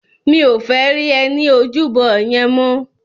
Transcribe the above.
Mi ó fè ri è ni ójúbò yèn mò